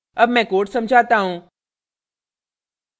अब मैं code समझाता हूँ